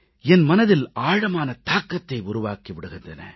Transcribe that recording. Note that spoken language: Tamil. என் மனதில் ஆழமான தாக்கத்தை உருவாக்கி விடுகின்றன